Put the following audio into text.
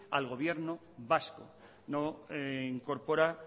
al gobierno vasco no incorpora